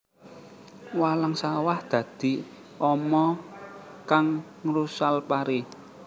Walang sawah dadi ama kang ngrusal pari